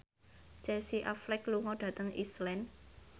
Casey Affleck lunga dhateng Iceland